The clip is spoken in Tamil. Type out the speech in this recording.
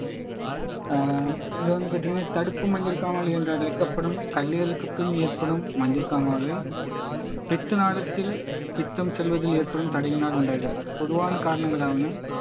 ஆஹ் இது வந்து பார்த்தீங்கன்னா தடுப்பு மஞ்சள் காமாலை என்று அழைக்கப்படும் கல்லீரலுக்குப் பின் ஏற்படும் மஞ்சள் காமாலை பித்தநாளத்தில் பித்தம் செல்வதில் ஏற்படும் தடையினால் உண்டாகிறது பொதுவான காரணங்களாவினால்